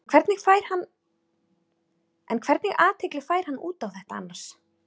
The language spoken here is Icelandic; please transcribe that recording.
En hvernig athygli fær hann út á þetta annars?